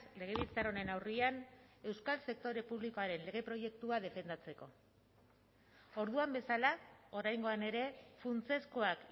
legebiltzar honen aurrean euskal sektore publikoaren lege proiektua defendatzeko orduan bezala oraingoan ere funtsezkoak